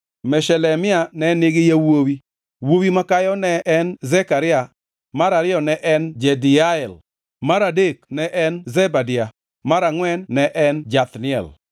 Meshelemia ne nigi yawuowi, wuowi makayo ne en Zekaria, mar ariyo ne en Jediael, mar adek ne en Zebadia, mar angʼwen ne en Jathniel,